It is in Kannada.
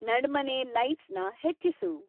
ನಡ್ಮನೆ ಲೈಟ್ಸ್‌ನ ಹೆಚ್ಚಿಸು